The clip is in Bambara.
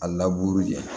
A laburu ye